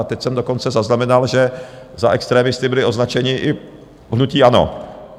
A teď jsem dokonce zaznamenal, že za extremisty bylo označeno i hnutí ANO.